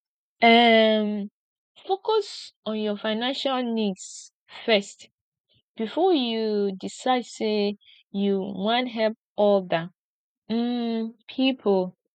um focus on your financial needs first before you decide sey you wan help oda um pipo